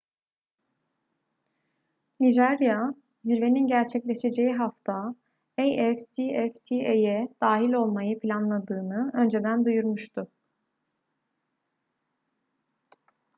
nijerya zirvenin gerçekleşeceği hafta afcfta'ya dahil olmayı planladığını önceden duyurmuştu